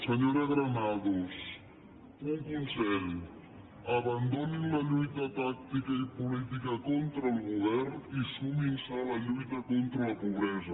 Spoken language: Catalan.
senyora granados un consell abandonin la lluita tàctica i política contra el govern i sumin se a la lluita contra la pobresa